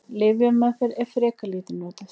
Lyfjameðferð er frekar lítið notuð.